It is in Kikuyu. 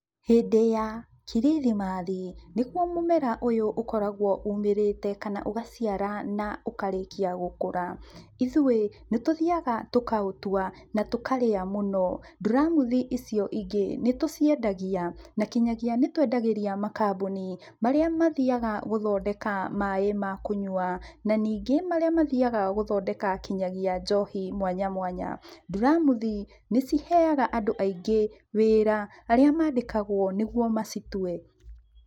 Hĩndĩ ya kirithimathi, nĩguo mũmera ũyũ ũkoragwo umĩrĩte kana ũgaciara na ũkarĩkia gũkũra. Ithuĩ, nĩ tũthiaga tũkaũtua na tũkarĩa mũno. Nduramuthi icio ingĩ, nĩ tũciendagia na kinyagia nĩ twendagĩria makambuni, marĩa mathiaga gũthondeka maĩ ma kũnyua na ningĩ marĩa mathiaga gũthondeka kinyagia njohi mwanya mwanya. Nduramuthi, nĩ ciheaga andũ aingĩ wĩra, arĩa mandĩkagwo nĩguo macitue.